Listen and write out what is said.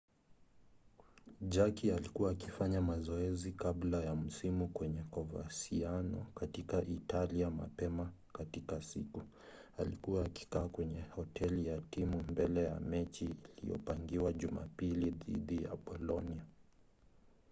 jarque alikuwa akifanya mazoezi kabla ya msimu kwenye coverciano katika italia mapema katika siku. alikuwa akikaa kwenye hoteli ya timu mbele ya mechi iliyopangiwa jumapili dhidi ya bolonia